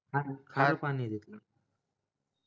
खार खार पाणी ये तिथलं